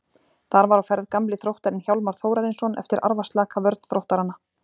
Þar var á ferð gamli Þróttarinn Hjálmar Þórarinsson eftir arfaslaka vörn Þróttaranna.